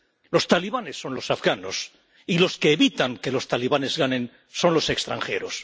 Los talibanes son los afganos y los que evitan que los talibanes ganen son los extranjeros.